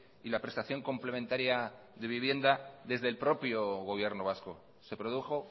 y la prestación complementaria de vivienda desde el propio gobierno vasco se produjo